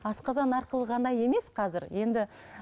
асқазан арқылы ғана емес қазір енді